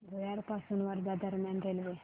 भुयार पासून वर्धा दरम्यान रेल्वे